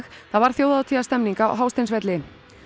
það var Þjóðhátíðarstemning á Hásteinsvelli